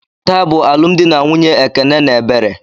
Taa bụ alụmdi na nwunye Ekene na Ebere.